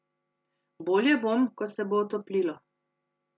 Bolje bom, ko se bo otoplilo.